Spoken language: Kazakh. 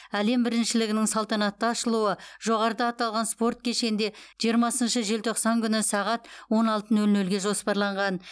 әлем біріншілігінің салтанатты ашылуы жоғарыда аталған спорт кешенде жиырмасыншы желтоқсан күні сағат он алты нөл нөлге жоспарланған